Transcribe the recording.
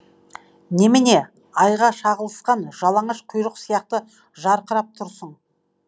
немене айға шағылысқан жалаңаш құйрық сияқты жарқырап тұрсың